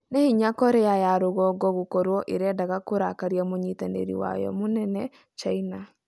Nĩ hinya Korea ya rũgongo gũkorwo ĩrendaga kũrakaria mũnyitanĩri wayo mũnene China.